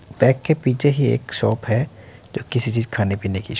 bag के पीछे ही एक शॉप है जो किसी चीज़ खाने पीने की श --